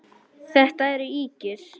Þetta eru ýkjur!